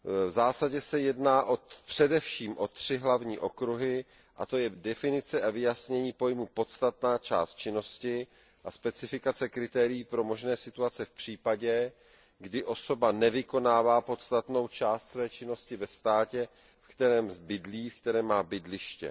V zásadě se jedná především o tři hlavní okruhy, a to je definice a vyjasnění pojmu podstatná část činnosti a specifikace kritérií pro možné situace v případě, kdy osoba nevykonává podstatnou část své činnosti ve státě, ve kterém má bydliště.